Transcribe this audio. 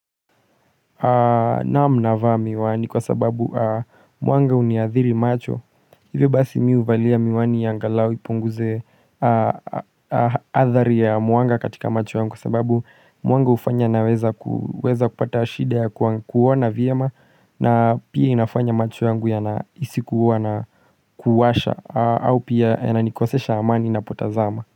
Naam navaa miwani kwa sababu muanga huniadhiri macho Hivyo basi mimi huvalia miwani ya angalau ipunguze athari ya mwanga katika macho yangu Kwa sababu mwanga hufanya naweza kupata shida ya kuona vyema na pia inafanya macho yangu yanahisikuwa na kuwasha au pia yananikosesha amani ninapotazama.